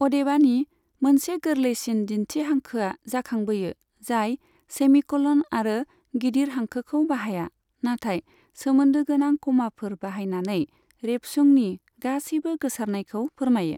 अदेबानि, मोनसे गोरलैसिन दिनथि हांखोआ जाखांबोयो, जाय सेमिक'लन आरो गिदिर हांखोखौ बाहाया, नाथाय सोमोनदो गोनां कमाफोर बाहायनानै रेबसुंनि गासैबो गोसारनायखौ फोरमायो।